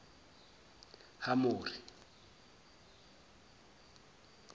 hamori